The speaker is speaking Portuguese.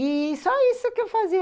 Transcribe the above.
E só isso que eu fazia.